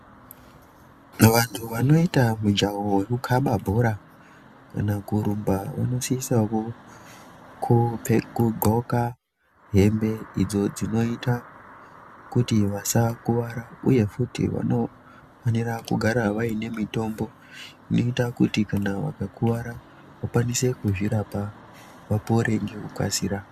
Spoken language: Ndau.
Vantu vanoita mujaho wekukhamba bhora, kana kurumba vanosisawo kupfe kudxoka hembe idzo, dzinoita kuti vasakuwara, uye futi vanofanirwa kugara vaine mitombo inoita kuti kana vakakuwara, vakwanise kuzvirapa, vapore ngekukasira.